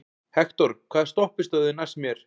Hektor, hvaða stoppistöð er næst mér?